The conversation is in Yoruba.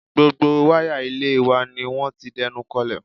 Gbogbo wáyà ilé wa ni wọ́n ti dẹnukọlẹ̀